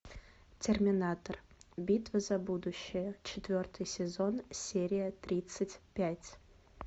терминатор битва за будущее четвертый сезон серия тридцать пять